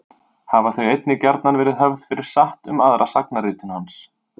Hafa þau einnig gjarnan verið höfð fyrir satt um aðra sagnaritun hans.